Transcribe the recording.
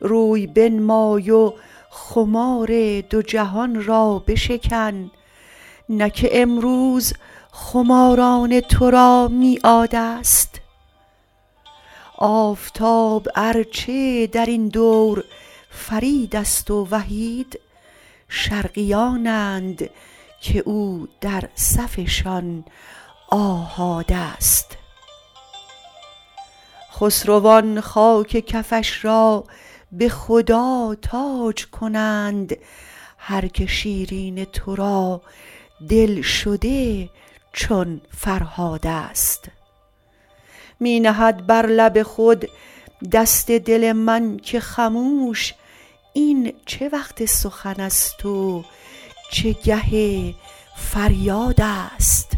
روی بنمای و خمار دو جهان را بشکن نه که امروز خماران تو را میعادست آفتاب ار چه در این دور فریدست و وحید شرقیانند که او در صفشان آحادست خسروان خاک کفش را به خدا تاج کنند هر که شیرین تو را دلشده چون فرهادست می نهد بر لب خود دست دل من که خموش این چه وقت سخن ست و چه گه فریادست